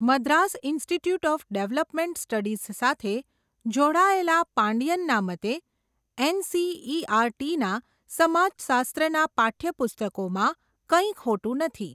Madras Institute of Development Studies સાથે, જોડાયેલા પાંડિયનના મતે, એનસીઈઆરટી ના, સમાજશાસ્ત્ર ના પાઠ્યપુસ્તકોમાં, કંઈ ખોટું નથી.